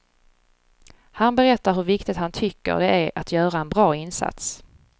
Han berättar hur viktigt han tycker det är att göra en bra insats.